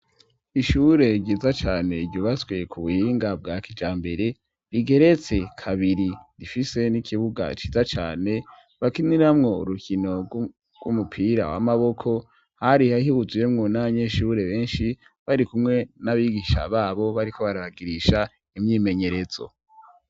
Ishure ryiza cane ryubatswe ku buhinga bwa kijambere, rigeretse kabiri. Rifise n'ikibuga ciza cane bakiniramwo urukino rw'umupira w'amaboko. Hari huzuyemwo n'abanyeshure benshi barikumwe n'abigisha b'abo, bariko barabigisha imyimenyerezo.